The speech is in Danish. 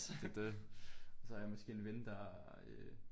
Det det. Og så har jeg måske en ven der øh